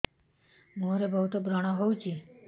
ମୁଁହରେ ବହୁତ ବ୍ରଣ ହଉଛି